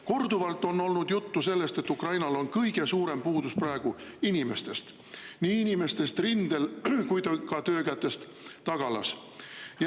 Korduvalt on olnud juttu sellest, et kõige suurem puudus on Ukrainas praegu inimestest, nii inimestest rindel kui ka töökätest tagalas.